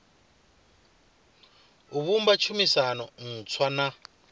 o vhumba tshumisano ntswa na